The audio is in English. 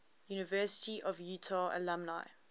university of utah alumni